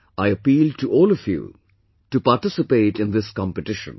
I appeal to all of you to participate in this competition